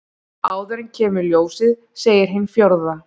Áður en kemur ljósið segir hin fjórða.